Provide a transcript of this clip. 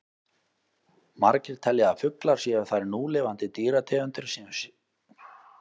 Margir telja að fuglar séu þær núlifandi dýrategundir sem séu skyldastar risaeðlum.